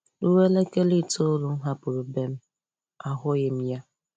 Ruo elekere itoolu m hapụrụ ebe m, ahụghị m ya.